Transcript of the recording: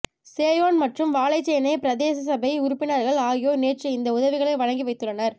சேயோன் ம்றறும் வாழைச்சேனை பிரதேசசபை உறுப்பினர்கள் ஆகியோர் நேற்று இந்த உதவிகளை வழங்கி வைத்துள்ளனர்